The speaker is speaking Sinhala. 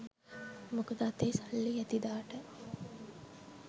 මොකද අතේ සල්ලි ඇති දාට